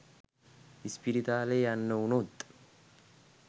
ඉස්පිරිතාලේ යන්න වුණොත්